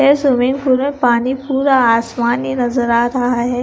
ये swimming pool पानी पूरा आसमानी नजर आ रहा है।